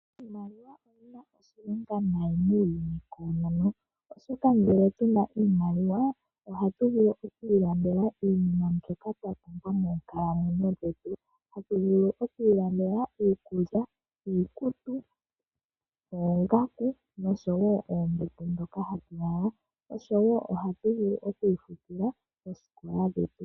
Iimaliwa oyina oshilonga nayi muuyuni koonono odhoka ngele tuna iimaliwa ohatu vulu okwiilandela iinima mbyoka twa pumbwa moo nkalamwenyo dhetu . Tatu vulu okwiilandela iikulya , iikutu , oongaku no sho woo oombete hoka hatu lala. Ohatu vulu okwii futila oosikola dhetu.